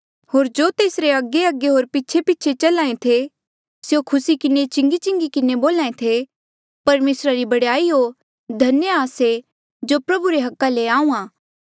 होर जो तेसरे अगेअगे होर पीछेपीछे चल्हा ऐें थे स्यों खुसी किन्हें चिंगी चिंगी किन्हें बोल्हा ऐें थे परमेसरा री बड़ाई हो धन्य आ से जो प्रभु रे अधिकारा ले आहूँआं